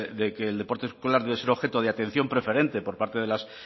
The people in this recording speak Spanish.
de que el deporte escolar debe ser objeto de atención preferente por parte de las